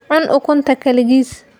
Cun ukunta keligiis.